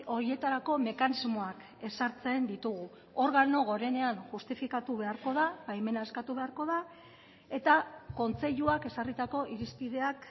horietarako mekanismoak ezartzen ditugu organo gorenean justifikatu beharko da baimena eskatu beharko da eta kontseiluak ezarritako irizpideak